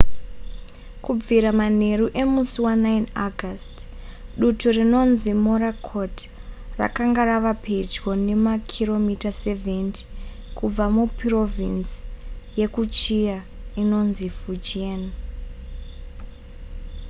kubvira manheru emusi wa9 august dutu rinonzi morakot rakanga rava pedyo nemakiromita 70 kubva mupurovhinzi yekuchia inonzi fujian